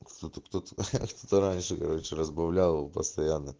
что то кто то раньше короче разбавляла его постоянно